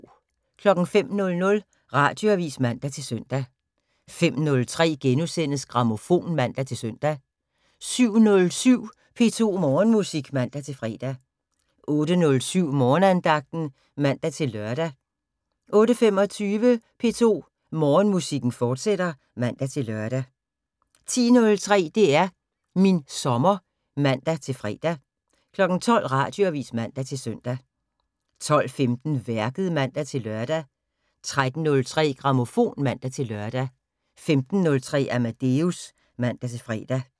05:00: Radioavis (man-søn) 05:03: Grammofon *(man-søn) 07:07: P2 Morgenmusik (man-fre) 08:07: Morgenandagten (man-lør) 08:25: P2 Morgenmusik, fortsat (man-lør) 10:03: DR min sommer (man-fre) 12:00: Radioavis (man-søn) 12:15: Værket (man-lør) 13:03: Grammofon (man-lør) 15:03: Amadeus (man-fre)